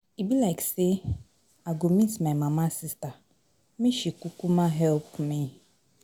E be like say I go meet my mama sister make she kukuma help me.